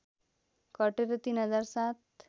घटेर ३ हजार ७